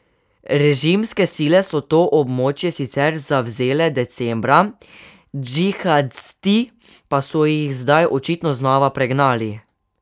Režimske sile so to območje sicer zavzele decembra, džihadisti pa so jih zdaj očitno znova pregnali.